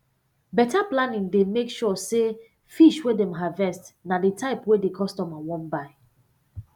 beta planning dey make sure say fish wey dem harvest na di type wey di customer wan buy